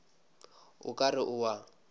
o ka re o a